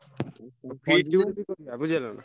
feast ଗୋଟେ କରିଆ ବୁଝି ହେଲାନା।